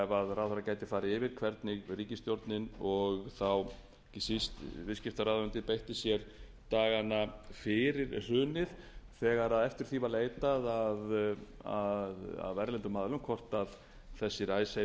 ráðherra gæti farið yfir hvernig ríkisstjórnin og þá ekki síst viðskiptaráðuneytið beitti sér dagana fyrir hrunið þegar eftir því var leitað af erlendum aðilum hvort þessir icesave